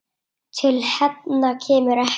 Til hefnda kemur ekki!